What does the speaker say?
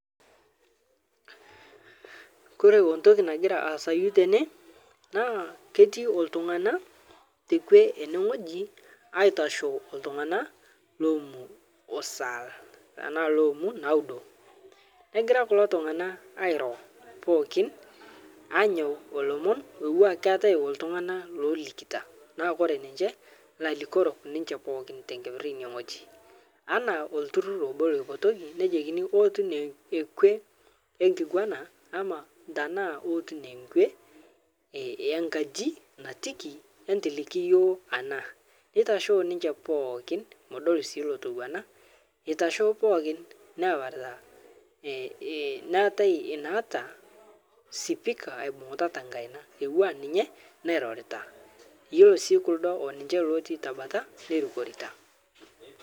Kore ontoki nagira aasayu tene naa ketii oltung'ana tekwe ene ngw'eji aitashoo ltung'ana lomu osal tanaa loomu naudo, negira kulo tung'ana airo pooki aanyao olomon louwa keatae oltung'ana loolikita naa kore ninche lailikorok ninche pokiin tenkeper eine ng'oji ana olturur obo loipotoki nejokini outun ekwe ekiguana ama tanaa outun ekwe enkaji nitiki entiliki yuo ana neitashoo ninche pookin, madol sii lotowana eitashoo pokin neaparita eh eh neatae nata spika tekaina euwa ninye nairorita yuolo sii lkudo oninche lotii tabata neirukorita.